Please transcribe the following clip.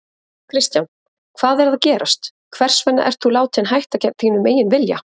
Kristján: Hvað er að gerast, hvers vegna ert þú látinn hætta gegn þínum eigin vilja?